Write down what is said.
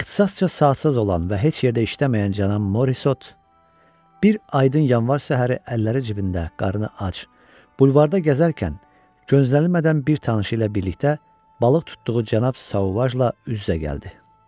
İxtisasca saatçı olan və heç yerdə işləməyən Cənab Morissot, bir aydın yanvar səhəri əlləri cibində, qarnı ac, bulvarda gəzərkən gözlənilmədən bir tanışı ilə birlikdə balıq tutduğu Cənab Sauvajla üz-üzə gəldi.